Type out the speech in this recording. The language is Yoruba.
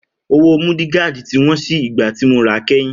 Owó múdìgaadì tí wón sì ìgbà tí mo ra kẹ́yìn